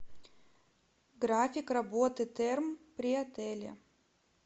график работы терм при отеле